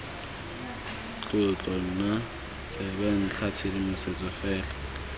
tlotlo nna tsebentlha tshedimosetso fela